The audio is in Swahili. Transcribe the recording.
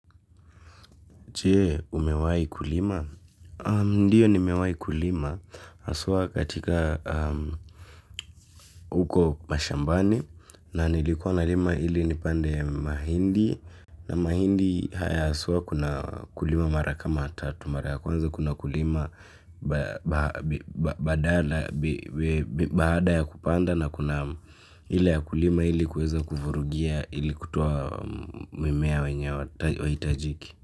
Jee, umewai kulima? Ndiyo nimewai kulima. Aswa katika huko mashambani. Na nilikuwa na lima hili nipande ya mahindi. Na mahindi kuna aswa kulima mara kama tatu kuna kuna kulima baada ya kupanda na kuna hile ya kulima hili kuweza kuvurugia hili kutoa mimea wenye watajiki.